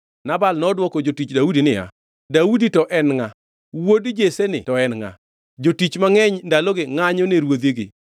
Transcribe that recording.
Nabal nodwoko jotich Daudi niya, “Daudi-ni to en ngʼa? Wuod Jesseni to en ngʼa? Jotich mangʼeny ndaloni ngʼanyo ne ruodhigi.